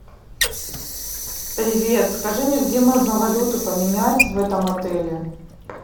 привет скажи мне где можно валюту поменять в этом отеле